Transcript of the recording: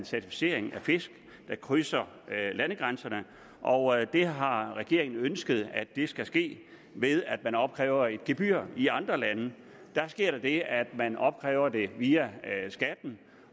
certificering af fisk der krydser landegrænserne og det har regeringen ønsket skal ske ved at man opkræver et gebyr i andre lande sker der det at man opkræver det via skatten